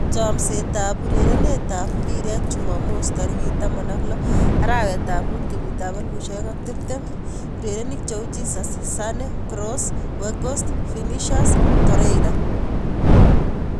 Chomset ab urerenet ab mbiret chumamos 16.05.2020: Jesus, Sane, Kroos, Weghorst, Vinicius, Torreira